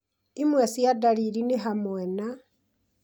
imwe cia ndariri nĩ hamwe na